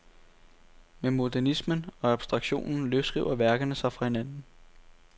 Med modernismen og abstraktionen løsriver værkerne sig fra hinanden.